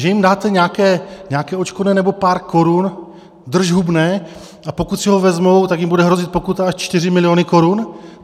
Že jim dáte nějaké odškodné nebo pár korun, držhubné, a pokud si ho vezmou, tak jim bude hrozit pokuta až 4 miliony korun?